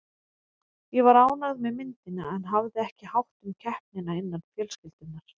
Ég var ánægð með myndina en hafði ekki hátt um keppnina innan fjölskyldunnar.